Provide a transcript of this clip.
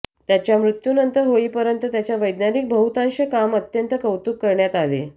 त्याच्या मृत्यूनंतर होईपर्यंत त्याच्या वैज्ञानिक बहुतांश काम अत्यंत कौतुक करण्यात आले